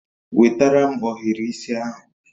Wetara m ohiri isi ahụ